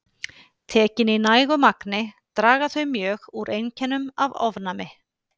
Tekin í nægu magni draga þau mjög úr einkennum af ofnæmi.